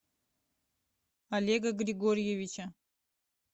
олега григорьевича